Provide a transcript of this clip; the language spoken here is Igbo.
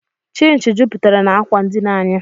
Chịnchị juputere n'akwa ndina anyị